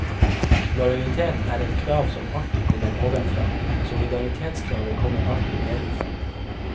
Lojalitet er et krav som alltid kommer ovenfra, solidaritetskravet kommer alltid nedenfra.